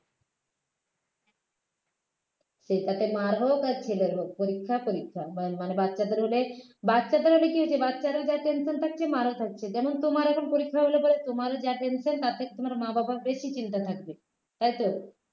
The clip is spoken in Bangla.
সেটাতে মায়ের হোক আর ছেলের হোক পরীক্ষা পরীক্ষা ম মানে বাচ্চাদের হলে বাচ্চাদের হলে কি হয়েছে বাচ্চারা যা tension থাকছে মায়েরও থাকছে যেমন তোমার এখন পরীক্ষা হলে পরে তোমার যা tension তার থেকে তোমার মা বাবার বেশি চিন্তা থাকবে তাই তো